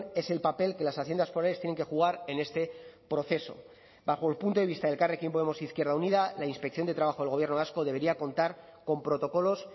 es el papel que las haciendas forales tienen que jugar en este proceso bajo el punto de vista de elkarrekin podemos izquierda unida la inspección de trabajo del gobierno vasco debería contar con protocolos